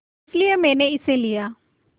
इसलिए मैंने इसे लिया